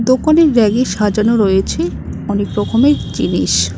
দোকানের রেগে সাজানো রয়েছে অনেক রকমের জিনিস।